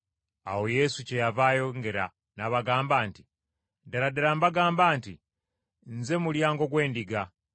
Awo Yesu kyeyava ayongera n’abagamba nti, “Ddala ddala mbagamba nti nze mulyango gw’endiga.